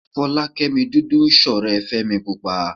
Fọlákẹ́mi dúdú ń ṣọ̀rẹ́ Fẹ́mi púpa